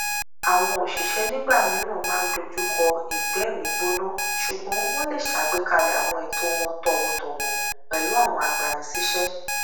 àwọn òṣìṣẹ nígbà mìíràn máa n dojúkọ ìgbẹ́mìígbóná ṣùgbọn wọn lè ṣàgbékalẹ àwọn ẹtọ wọn tọwọtọwọ pẹlú àwọn agbani síṣẹ